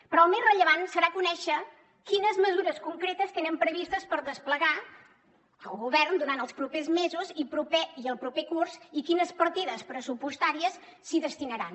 però el més rellevant serà conèixer quines mesures concretes tenen previstes per desplegar el govern durant els propers mesos i el proper curs i quines partides pressupostàries s’hi destinaran